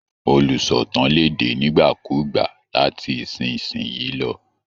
Olùsọ̀tàn lè dé nígbàkúùgbà láti ìsinsìnyí lọ